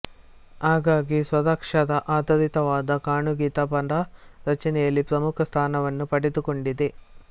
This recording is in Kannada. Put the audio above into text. ಹಾಗಾಗಿ ಸ್ವರಾಕ್ಷರ ಆಧಾರಿತವಾದ ಕಾಗುಣಿತ ಪದ ರಚನೆಯಲ್ಲಿ ಪ್ರಮುಖ ಸ್ಥಾನವನ್ನು ಪಡೆದುಕೊಂಡಿದೆ